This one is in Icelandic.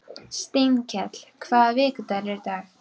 Steinkell, hvaða vikudagur er í dag?